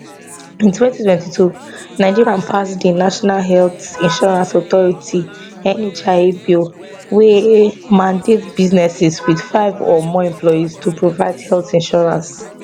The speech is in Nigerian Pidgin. in 2022 nigeria pass di national health insurance authority nhia bill wey mandate businesses with five or more employees to provide health insurance